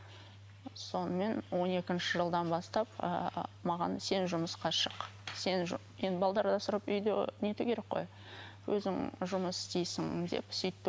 сонымен он екінші жылдан бастап ыыы маған сен жұмысқа шық енді асырап үйді нету керек қой өзің жұмыс істейсің деп сөйтті